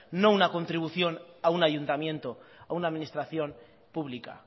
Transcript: no una contribución a un ayuntamiento a una administración pública